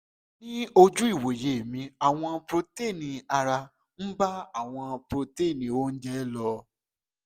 ní ojú ìwòye mi àwọn protein ara ń bá àwọn protein oúnjẹ lò